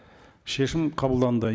шешім қабылданды